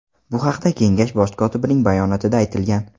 Bu haqda Kengash bosh kotibining bayonotida aytilgan .